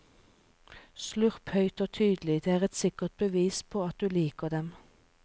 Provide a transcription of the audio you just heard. Slurp høyt og tydelig, det er et sikkert bevis på at du liker dem.